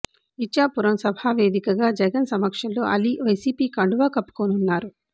ఇచ్చాపురం సభ వేదికగా జగన్ సమక్షంలో అలీ వైసీపీ కండువా కప్పుకోనున్నారు